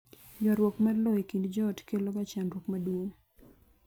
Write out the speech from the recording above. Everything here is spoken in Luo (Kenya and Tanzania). ywaruok mar lowo e kind joot kelo ga chandruok maduong'